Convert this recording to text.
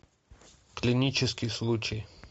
клинический случай